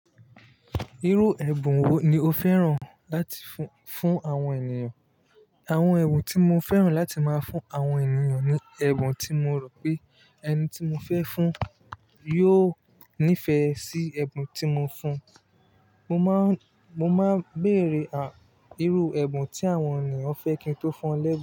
Irú ẹ̀bùn wo ni o fẹ́ràn láti fún, fún àwọn ènìyàn? Àwọn ẹ̀bùn tí mo fẹ́ràn láti má fún àwọn ènìyàn ni ẹ̀bùn tí mo rò pé ẹni tí mo fẹ́ fún yóò nífẹ̀ẹ́ sí ẹ̀bùn tí mo fún. Mo máa, mo máa béèrè ìrú ẹ̀bùn tí àwọn ènìyàn fẹ́ kí n tó fún wọn lẹ́bùn.